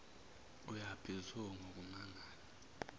uyaphi zo ngokumangala